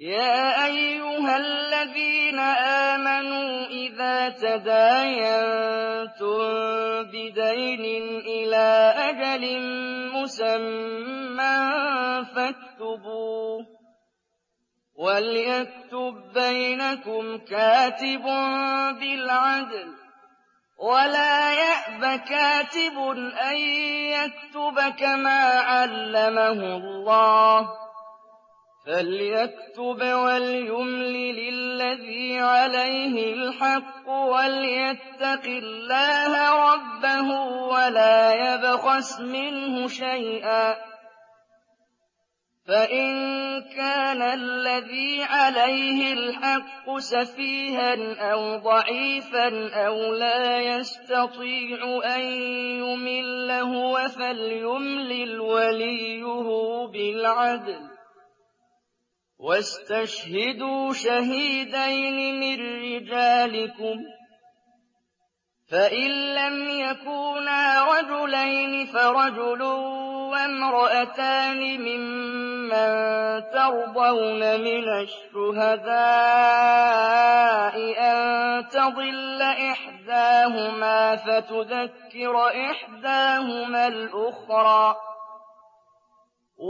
يَا أَيُّهَا الَّذِينَ آمَنُوا إِذَا تَدَايَنتُم بِدَيْنٍ إِلَىٰ أَجَلٍ مُّسَمًّى فَاكْتُبُوهُ ۚ وَلْيَكْتُب بَّيْنَكُمْ كَاتِبٌ بِالْعَدْلِ ۚ وَلَا يَأْبَ كَاتِبٌ أَن يَكْتُبَ كَمَا عَلَّمَهُ اللَّهُ ۚ فَلْيَكْتُبْ وَلْيُمْلِلِ الَّذِي عَلَيْهِ الْحَقُّ وَلْيَتَّقِ اللَّهَ رَبَّهُ وَلَا يَبْخَسْ مِنْهُ شَيْئًا ۚ فَإِن كَانَ الَّذِي عَلَيْهِ الْحَقُّ سَفِيهًا أَوْ ضَعِيفًا أَوْ لَا يَسْتَطِيعُ أَن يُمِلَّ هُوَ فَلْيُمْلِلْ وَلِيُّهُ بِالْعَدْلِ ۚ وَاسْتَشْهِدُوا شَهِيدَيْنِ مِن رِّجَالِكُمْ ۖ فَإِن لَّمْ يَكُونَا رَجُلَيْنِ فَرَجُلٌ وَامْرَأَتَانِ مِمَّن تَرْضَوْنَ مِنَ الشُّهَدَاءِ أَن تَضِلَّ إِحْدَاهُمَا فَتُذَكِّرَ إِحْدَاهُمَا الْأُخْرَىٰ ۚ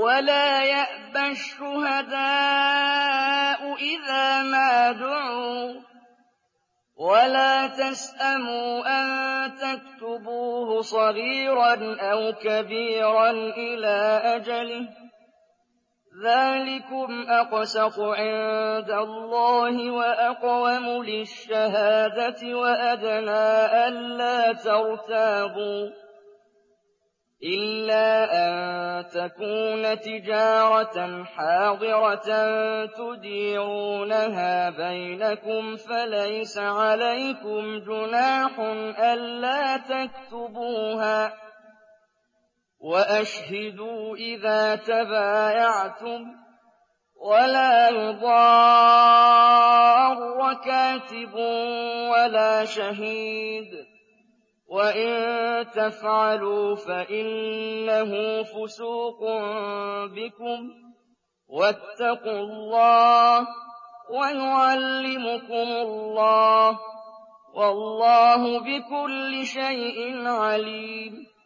وَلَا يَأْبَ الشُّهَدَاءُ إِذَا مَا دُعُوا ۚ وَلَا تَسْأَمُوا أَن تَكْتُبُوهُ صَغِيرًا أَوْ كَبِيرًا إِلَىٰ أَجَلِهِ ۚ ذَٰلِكُمْ أَقْسَطُ عِندَ اللَّهِ وَأَقْوَمُ لِلشَّهَادَةِ وَأَدْنَىٰ أَلَّا تَرْتَابُوا ۖ إِلَّا أَن تَكُونَ تِجَارَةً حَاضِرَةً تُدِيرُونَهَا بَيْنَكُمْ فَلَيْسَ عَلَيْكُمْ جُنَاحٌ أَلَّا تَكْتُبُوهَا ۗ وَأَشْهِدُوا إِذَا تَبَايَعْتُمْ ۚ وَلَا يُضَارَّ كَاتِبٌ وَلَا شَهِيدٌ ۚ وَإِن تَفْعَلُوا فَإِنَّهُ فُسُوقٌ بِكُمْ ۗ وَاتَّقُوا اللَّهَ ۖ وَيُعَلِّمُكُمُ اللَّهُ ۗ وَاللَّهُ بِكُلِّ شَيْءٍ عَلِيمٌ